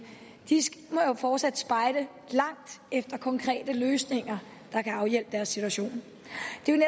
må jo fortsat spejde langt efter konkrete løsninger der kan afhjælpe deres situation at